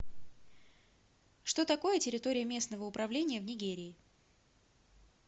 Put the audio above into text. что такое территория местного управления в нигерии